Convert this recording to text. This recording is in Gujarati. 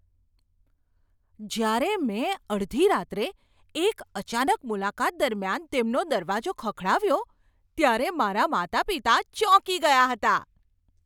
જ્યારે મેં અડધી રાત્રે એક અચાનક મુલાકાત દરમિયાન તેમનો દરવાજો ખખડાવ્યો, ત્યારે મારા માતા પિતા ચોંકી ગયા હતા.